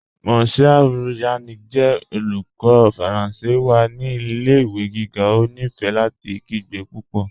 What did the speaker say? Monsieur Yannick jẹ olùkọ̀ Faranse wa ni ilẹ̀-ìwé gígá, ó nífé láti kìgbe púpọ́.